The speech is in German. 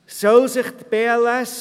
Eine weitere Frage lautet